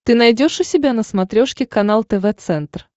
ты найдешь у себя на смотрешке канал тв центр